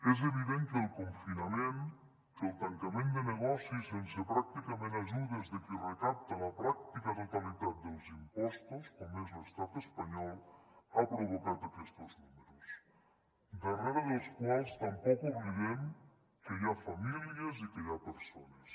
és evident que el confinament que el tancament de negocis sense pràcticament ajudes de qui recapta la pràctica totalitat dels impostos com és l’estat espanyol ha provocat aquestos números darrere dels quals tampoc oblidem que hi ha famílies i que hi ha persones